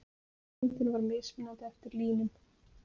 Meðalþyngdin var mismunandi eftir línum.